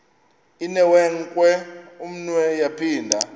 inewenkwe umnwe yaphinda